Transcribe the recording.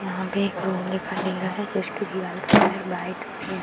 यहाँ पे एक रूम दिखाई दे रहा है उसके दीवाल का कलर वाइट और ये --